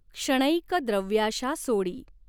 क्षणैक द्रव्याशा सोडी।